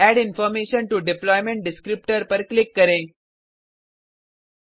add information to deployment descriptor web XML पर click करें